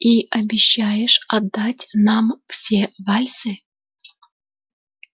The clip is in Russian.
и обещаешь отдать нам все вальсы